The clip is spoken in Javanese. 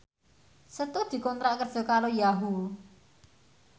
Setu dikontrak kerja karo Yahoo!